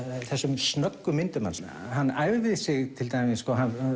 þessum snöggu myndum hans hann æfði sig til dæmis